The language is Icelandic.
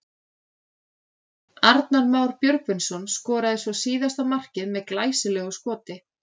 Arnar Már Björgvinsson skoraði svo síðasta markið með glæsilegu skoti.